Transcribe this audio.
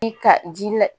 I ka ji la